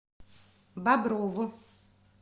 боброву